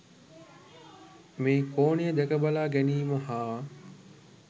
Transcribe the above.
මේ කෝණය දැක බලා ගැනීම හා